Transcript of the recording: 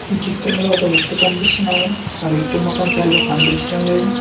ఈ చిత్రంలో ఒక వ్యక్తి కనిపిస్తున్నాడు ఆ వ్యక్తి ముఖం సరిగా కనిపిచటం లేదు.